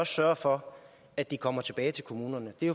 sørge for at de kommer tilbage til kommunerne det